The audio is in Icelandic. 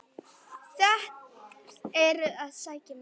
Þeir eru að sækja mig.